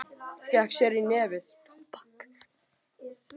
Fékk sér í nefið.